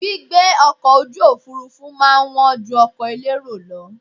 Gbígbé ọkọ̀ ojú òfurufú má a ń wọ́n ju ọkọ̀ elérò lọ